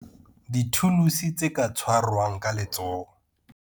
Dithuluse tse ka tshwarwang ka letsoho.